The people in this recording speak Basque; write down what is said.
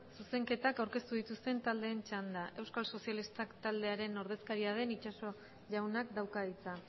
zuzenketak aukeztu dituzten taldeen txanda euskal sozialista taldearen ordezkaria den itxaso jaunak dauka hitza